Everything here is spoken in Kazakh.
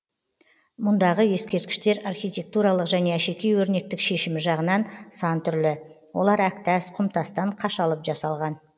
мұндағы ескерткіштер архитектуралық және әшекей өрнектік шешімі жағынан сан түрлі олар әктас құмтастан қашалып жасалған